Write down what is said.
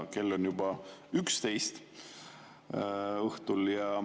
Kell on juba 11 õhtul.